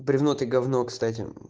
бревно ты говно кстати